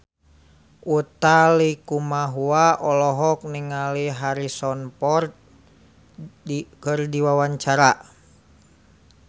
Utha Likumahua olohok ningali Harrison Ford keur diwawancara